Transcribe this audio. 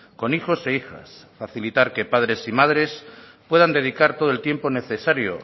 con hijos e hijas facilitar que padres y madres puedan dedicar todo el tiempo necesario